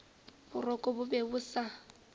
boroko bo be bo sa